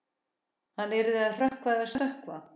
Hann yrði að hrökkva eða stökkva.